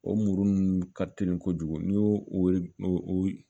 O muru nunnu ka teli kojugu n'i y'o o